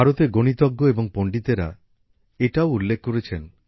ভারতের গণিতজ্ঞ এবং পণ্ডিতেরা এটাও উল্লেখ করেছেন